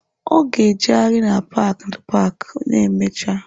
Ọ ga-ejegharị na paaki paaki ma emechaa.